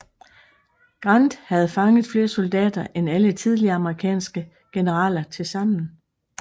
Grant havde fanget flere soldater end alle tidligere amerikanske generaler tilsammen